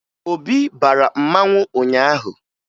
Obi bara mmanwụ ụnyaahụ